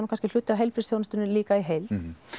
hluti af heilbrigðisþjónustunni líka í heild